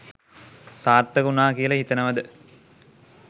සාර්ථක වුණා කියලා හිතනවද?